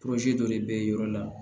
dɔ de bɛ yɔrɔ la